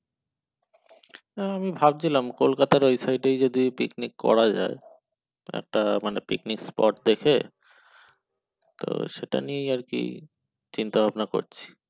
না আমি ভাবছিলাম কলকাতার ওই side এ যদি picnic করা যাই একটা মানে picnic spot দেখে তো সেটা নিয়ে আরকি চিন্তা ভাবনা করছি